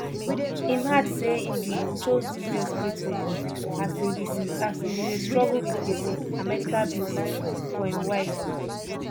im add say im bin "chose dis desperate way" as im bin dey struggle wit gbese and medical bills for im wife.